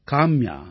Kamya